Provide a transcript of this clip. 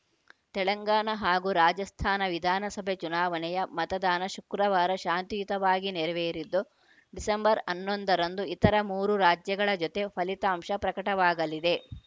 ತೆಲಂಗಾಣ ಹಾಗೂ ರಾಜಸ್ಥಾನ ವಿಧಾನಸಭೆ ಚುನಾವಣೆಯ ಮತದಾನ ಶುಕ್ರವಾರ ಶಾಂತಿಯುತವಾಗಿ ನೆರವೇರಿದ್ದು ಡಿಸೆಂಬರ್ ಹನ್ನೊಂದರಂದು ಇತರ ಮೂರು ರಾಜ್ಯಗಳ ಜೊತೆ ಫಲಿತಾಂಶ ಪ್ರಕಟವಾಗಲಿದೆ